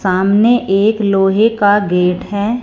सामने एक लोहे का गेट है।